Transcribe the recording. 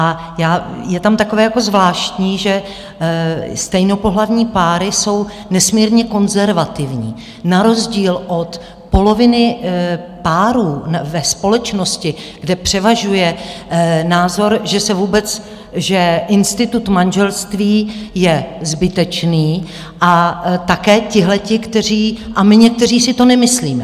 A je tam takové jako zvláštní, že stejnopohlavní páry jsou nesmírně konzervativní na rozdíl od poloviny párů ve společnosti, kde převažuje názor, že se vůbec, že institut manželství je zbytečný, a také tihleti, kteří... a my někteří si to nemyslíme.